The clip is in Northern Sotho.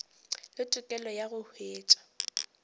le tokelo ya go hwetša